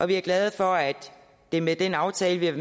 vi er glade for at det med den aftale vi har